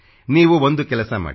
ನೀವು ಒಂದು ಕೆಲಸ ಮಾಡಿ